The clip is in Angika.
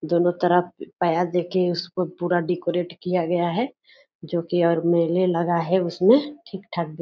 दोनो तरफ पाया देके उसको पुरा डेकोरेट किया गया है जो कि और मेले लगा है उसमें ठीक-ठाक --